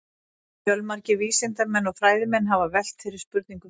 Fjölmargir vísindamenn og fræðimenn hafa velt þeirri spurningu fyrir sér.